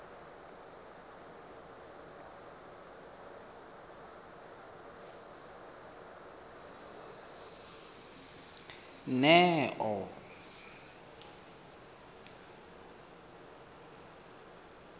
neo